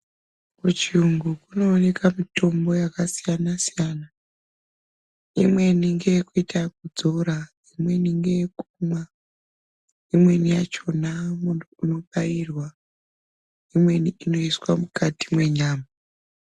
Kuchiyungu kunooneka mitombo yakasiyana-siyana , imweni ngeyekuita ekudzora, imweni ngeyekumwa, imweni yachona munhu unobairwa, imweni inoiswa mukati mwenyama .